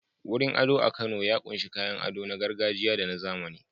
Wurin ado a Kano ya ƙunshi kayan ado na gargajiya da na zamani.